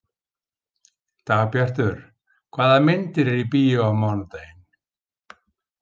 Dagbjartur, hvaða myndir eru í bíó á mánudaginn?